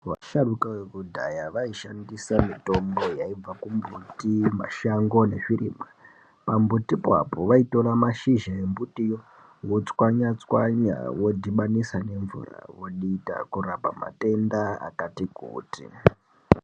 Vasharukwa vekudhaya vaishandisa mitombo yaibva kumbuti mashango nezvirimwa pambuti apapo vaitora mashizha ombutiwo votswanya-tswanya vodhibanisa nemvura vodita kurapa matenda akati kuti.